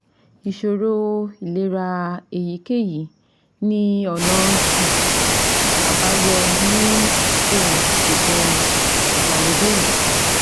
Ìṣòro ìlera èyíkéyìí ní ọ̀nà um àbáyọ ní àkókò ìṣègùn ìgbàlódé yìí